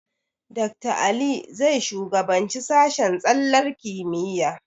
Dakta Ali zai shugabanci sashen tsallar kimiyya.